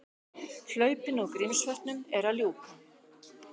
Hlaupinu úr Grímsvötnum er að ljúka